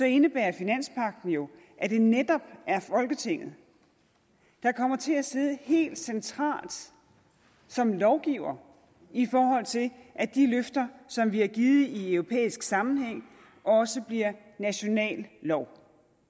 indebærer finanspagten jo at det netop er folketinget der kommer til at sidde helt centralt som lovgiver i forhold til at de løfter som vi har givet i europæisk sammenhæng også bliver national lov